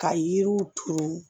Ka yiriw turu